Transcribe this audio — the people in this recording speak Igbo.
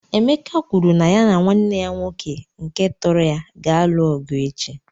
Emeka kwuru na ya na nwanne ya nwoke nke tọrọ ya ga-alụ ọgụ echi.